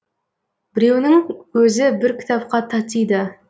біреуінің өзі бір кітапқа татиды